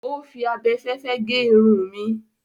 Ó fi abẹfẹ́fẹ́ gé irun mi.